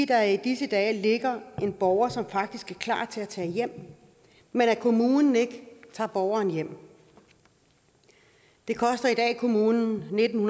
der i disse dage ligger en borger som faktisk er klar til at tage hjem men at kommunen ikke tager borgeren hjem det koster i dag kommunen nitten